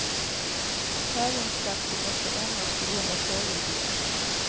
Tävlingsplatser måste ändras på grund av fågelbon.